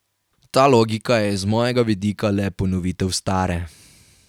Ta logika je iz mojega vidika le ponovitev stare.